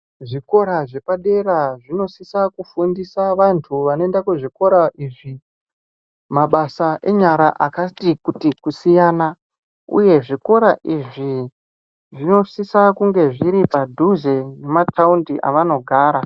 Zvikora zvepadera zvinosisa kufundiswa vantu vanoenda kuzvikora uku mabasa enyara kuti kusiyana uyehe zvikora izvi zvinosisa zviri padhuze memataundi avanogara.